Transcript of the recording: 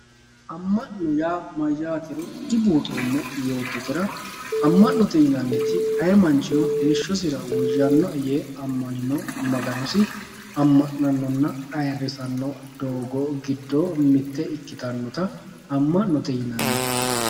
Ama'note yaa mayyatero dibuuxoommo yoottotera ama'note yinanniti ayee manchino heeshshosira woyyanoe amanino Maganosi ama'nanonna ayirrisano doogo giddo mite ikkittanotta ama'note yinanni.